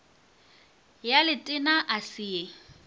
ya letena a se ye